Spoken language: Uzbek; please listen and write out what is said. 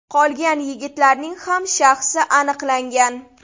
Qolgan yigitlarning ham shaxsi aniqlangan.